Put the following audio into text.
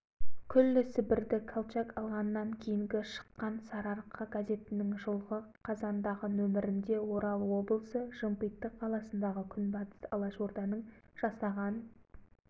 сібірде совет үкіметі құлап әкімшілікті колчак алып жан-жаққа әмірін жүргізе бастағаннан кейін алашорда да тіпті күшейіп қоқырақтап алды